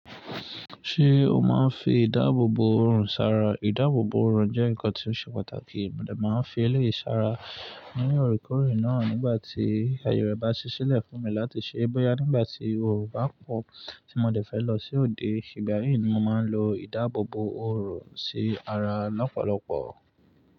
Ṣé o máa ń fi ìdáàbòbò ọrùn ṣara? Ìdáàbòbò ọrùn jẹ́ nǹkan tí ó ṣe pàtàkì, mo de máa ń fi eleyi ṣara ní òrekórè náà nígbà tí aye rẹ̀ bá ṣiṣẹ́lẹ̀ fún mi láti ṣe é bóyá nígbà tí oòrùn bá pọ̀ tí mo dẹ̀ fẹ́ lọ sí òde. Igba yi ni mo máa ń lo ìdáàbòbò ọrùn sí ara lọ́pọ̀lọpọ̀.